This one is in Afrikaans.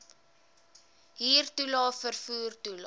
huurtoelae vervoer toelae